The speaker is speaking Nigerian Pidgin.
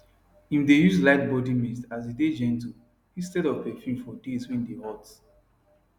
im dae use light body mist as e dae gentle instead of perfume for days wae dae hot